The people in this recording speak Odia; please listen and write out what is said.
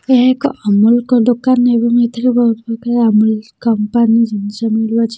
ଏହା ଏକ ଅମୂଳକ ଦୋକାନ ଏବଂ ଏଥିରେ ବହୁତ୍ ପ୍ରକାର ଅମୂଲ କମ୍ପାନୀ ଜିନିଷ ମିଳୁଅଛି।